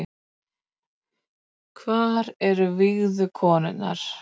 Hvar eru vígðu konurnar